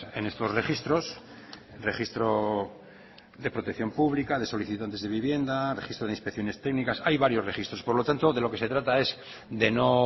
en estos registros registro de protección pública de solicitantes de vivienda registro de inspecciones técnicas hay varios registros por lo tanto de lo que se trata es de no